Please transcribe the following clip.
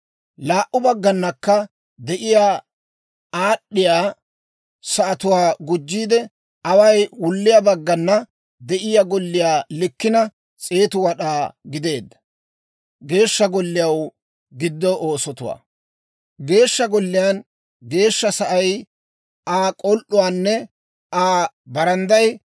Laa"u bagganakka de'iyaa aad'd'iyaa sa'atuwaa gujjiide, away wulliyaa baggana de'iyaa golliyaa likkina 100 wad'aa gideedda. Geeshsha Golliyaw Giddo Oosotuwaa Geeshsha Golliyaa Geeshsha Sa'ay, Aa k'ol"uunne Aa barandday